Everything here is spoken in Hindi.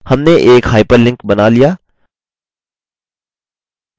हमने एक hyperlink बना लिया!